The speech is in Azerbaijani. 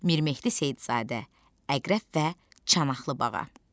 Mir Mehdi Seyidzadə, Əqrəb və Çanaqlıbağa.